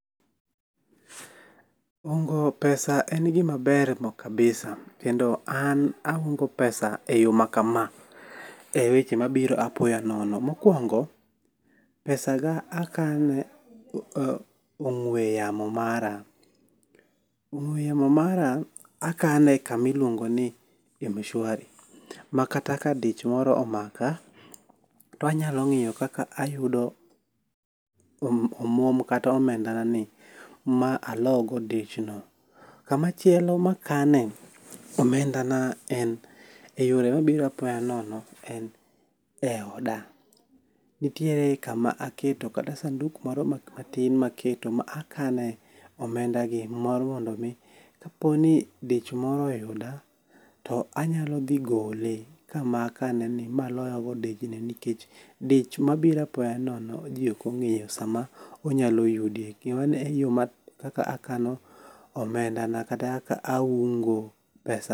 Ungo pesa en gima ber kabisa kendo an aungo pesa e yo makama,e weche mabiro apoya nono. Mokwongo, pesaga akane ong'we yamo mara. Ong'we yamo mara akane kamiluongo ni m-shwari, ma kata ka dich moro omaka, to anyalo ng'iyo kaka ayudo omwom kata omendana ni, ma alo godo dichno. Kamachielo makanee omendana en, e yore mabiro apoya nono en e oda. Nitiere kama aketo kata sanduk moro matin maketo ma akane omendagi mar mondo omi kaponi dich moro oyuda, to anyalo dhi gole kama akaneni ,maloyo go dichni nikech dich mabiro apoya nono ji ok ong'eyo sama onyalo yudi, mano e yo ma ,kaka akano omendana, kata kaka aungo pesa.